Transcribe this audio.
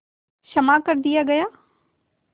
क्षमा कर दिया गया